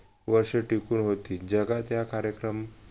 वर्ष टिकून होती जगाच्या कार्यक्रम